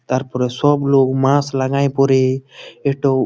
তারপর সব লোক মাস লাগাই পরে এটোও।